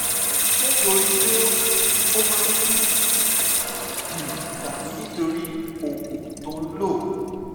ṣé torí pé ó máa ń ní gìrì tàbí nítorí oògùn tó ń lò?